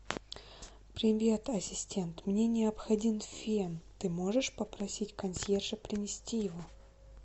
привет ассистент мне необходим фен ты можешь попросить консьержа принести его